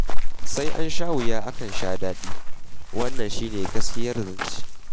Sai an sha wuya akan sha daɗi, wannan shi ne gaskiyar zance.